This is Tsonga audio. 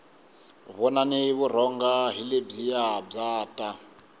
vonani vurhonga hi lebyiya bya ta